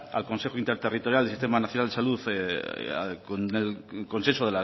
al consejo interterritorial de sistema nacional de salud con el consenso